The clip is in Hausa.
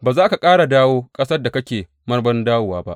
Ba za ka ƙara dawo ƙasar da kake marmarin dawowa ba.